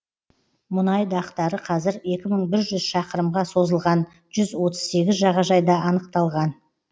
мұнай дақтары қазір екі мың бір жүз шақырымға созылған жүз отыз сегіз жағажайда анықталған